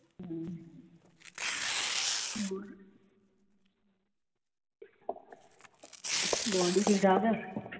ਗੁਆਂਢੀ ਠੀਕ ਠਾਕ ਆ?